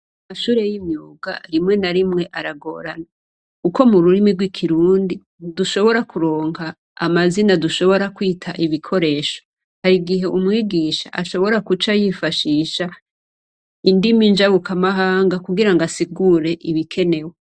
Amashure y'imyuga arimwe na rimwe aragorana uko mu rurimi rw'ikirundi dushobora kuronka amazina dushobora kwita ibikoresho hari igihe umwigisha ashobora kuca yifashisha indimi injabuka amahanga kugira ngo asigure ibikenewe.